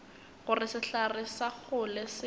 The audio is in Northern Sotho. gore sehlare sa kgole se